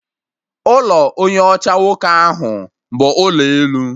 Ụlọ onye ọcha nwoke ahụ bụ ụlọ elu